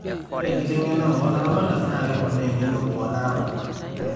ore enkiteng'ena oo laramatak naa keponaa eng'eno oo laramatak